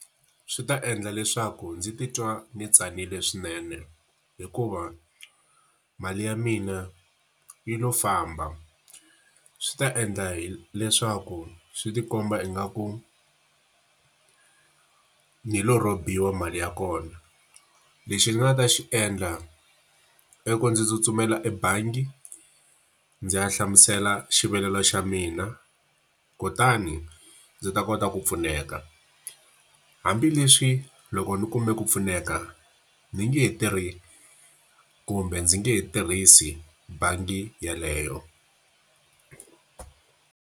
Swi ta endla leswaku ndzi titwa ni tsanile swinene, hikuva mali ya mina yi lo famba. Swi ta endla leswaku swi ti komba ingaku ni lo rhobiwa mali ya kona. Lexi ni nga ta xi endla i ku ndzi tsutsumela ebangi, ndzi ya hlamusela xivilelo xa mina, kutani ndzi ta kota ku pfuneka. Hambileswi loko ni kumbe ku pfuneka ni nge he kumbe ndzi nge he tirhisi bangi yeleyo.